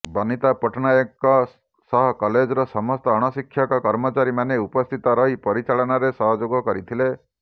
ବନିତା ପଟ୍ଟନାୟକ ଙ୍କ ସହ କଲେଜ ର ସମସ୍ତ ଅଣଶିକ୍ଷକ କର୍ମଚାରୀ ମାନେ ଉପସ୍ଥିତରହି ପରିଚାଳନାରେ ସହଯୋଗ କରିଥିଲେ